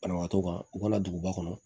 Banabaatɔ kan u ka na duguba kɔnɔ